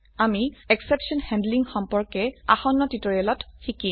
আমি exception handling সম্পৰ্কে আসন্ন টিউটোৰিয়েল শিকিম